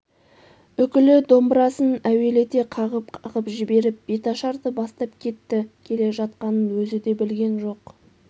үкілі домбырасын әуелете қағып-қағып жіберіп беташарды бастап кетті келе жатқанын өзі де білген жоқ